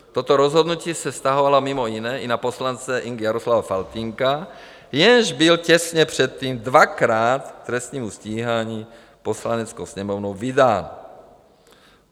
Toto rozhodnutí se vztahovalo mimo jiné i na poslance ing. Jaroslava Faltýnka, jenž byl těsně předtím dvakrát k trestnímu stíhání Poslaneckou sněmovnou vydán.